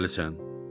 Dəlisən?